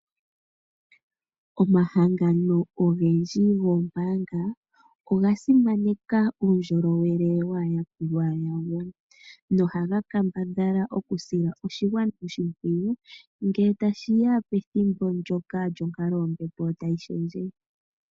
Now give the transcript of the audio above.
Omahangano ogendji gombaanga oga simaneka uundjolowele wele waa yakulwa yawo, noha ga kambadhala oku sila oshigwana oshimpwiyu ngele tashiya pethimbo ndjoka djonkalo yombepo tayi shendje.